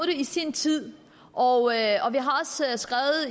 i sin tid og